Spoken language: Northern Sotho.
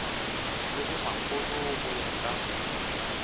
le bomakgolo go ya ka